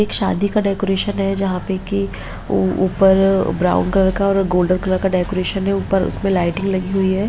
एक शादी का डेकोरेशन है जहाँ पे की ऊपर ब्राउन कलर का और गोल्डन कलर का डेकोरेशन है ऊपर उसमें लाइटिंग लगी हुई है|